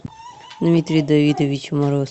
дмитрий давидович мороз